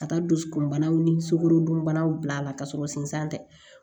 Ka taa dusukunbanaw ni sukorodunbanaw bila a la ka sɔrɔ sensan tɛ